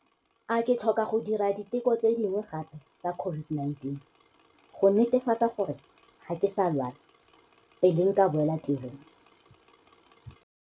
A ke tlhoka go dira diteko tse dingwe gape tsa COVID-19, go netefatsa gore ga ke sa lwala, pele nka boela tirong?